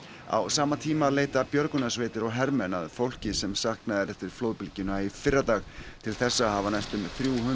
á sama tíma leita björgunarsveitir og hermenn að fólki sem saknað er eftir flóðbylgjuna í fyrradag til þessa hafa næstum þrjú